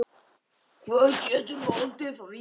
Hvað getur valdið því?